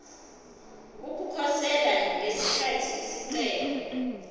ukukhosela ngesikhathi isicelo